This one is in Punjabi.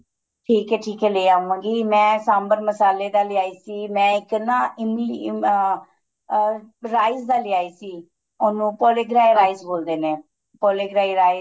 ਠੀਕ ਏ ਠੀਕ ਏ ਲੈ ਆਵਾਂ ਗੀ ਮੈਂ ਸਾਂਬਰ ਮਸਾਲੇ ਦਾ ਲੈ ਆਈ ਸੀ ਮੈਂ ਇੱਕ ਨਾ ਇਮੀ ਇਮ ਅਹ ਅਹ rice ਦਾ ਲੈ ਆਈ ਸੀ ਉਹਨੂੰ rice ਬੋਲਦੇ ਨੇ rice